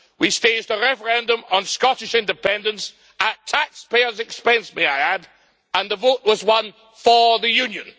We staged a referendum on Scottish independence, at taxpayers' expense may I add, and the vote was won for the Union.